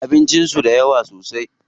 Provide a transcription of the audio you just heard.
Abincin su da yawa sosai.